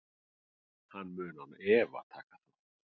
Hann mun án efa taka þátt.